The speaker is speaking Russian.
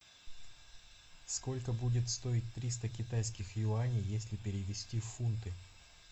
сколько будет стоить триста китайских юаней если перевести в фунты